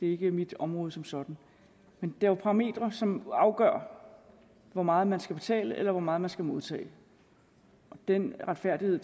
er ikke mit område som sådan men det er jo parametre som afgør hvor meget man skal betale eller hvor meget man skal modtage den retfærdighed